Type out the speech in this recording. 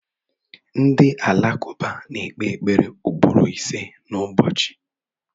Ndị alakụba na-ekpe ekpere ugboro ìsé n'ụbọchị.